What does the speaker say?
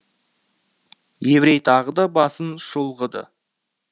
еврей тағы да басын шұлғыды